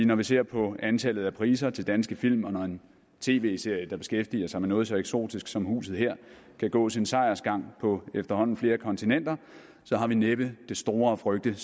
når vi ser på antallet af priser til danske film og når en tv serie der beskæftiger sig med noget så eksotisk som huset her kan gå sin sejrsgang på efterhånden flere kontinenter har vi næppe det store at frygte